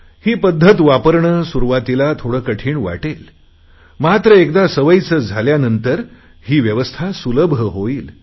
ही पध्दत वापरणे सुरुवातीला थोडे कठीण वाटेल मात्र एकदा सवयीचे झाल्यानंतर ही व्यवस्था सुलभ होईल